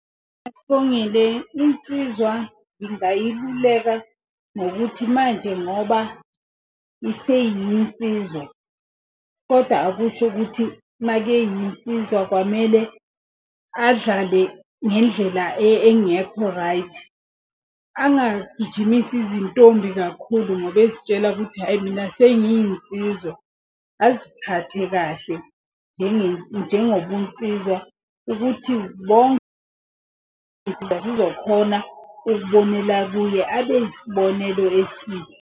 Sibongile insizwa ngingayiluleka ngokuthi manje ngoba iseyinsizwa, koda akusho ukuthi makeyinsizwa kwamele adlale ngendlela engekho right. Angagijimisi izintombi kakhulu ngoba ezitshela ukuthi hhayi mina senginsizwa. Aziphathe kahle njengobunsizwa ukuthi zizokhona ukubonela kuye abe yisibonelo esihle.